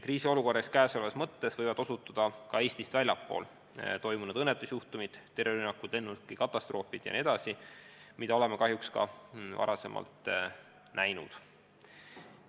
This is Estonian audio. Kriisiolukorra võivad põhjustada ka Eestist väljaspool toimunud õnnetusjuhtumid, terrorirünnakud, lennukatastroofid jms, mida me kahjuks oleme näinud.